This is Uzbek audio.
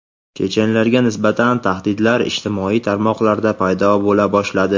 chechenlarga nisbatan tahdidlar ijtimoiy tarmoqlarda paydo bo‘la boshladi.